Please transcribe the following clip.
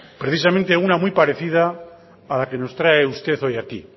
precisamente una muy parecida a la que nos trae usted hoy aquí